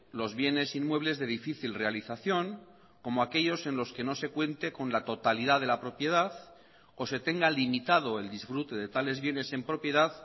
los bienes inmuebles de difícil realización como aquellos en los que no se cuente con la totalidad de la propiedad o se tenga limitado el disfrute de tales bienes en propiedad